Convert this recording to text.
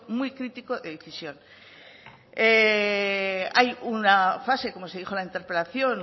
muy crítico de decisión hay una fase como se dijo en la interpelación